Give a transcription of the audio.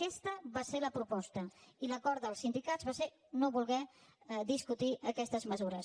aquesta va ser la proposta i l’acord dels sindicats va ser no voler discutir aquestes mesures